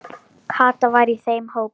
Kata var í þeim hópi.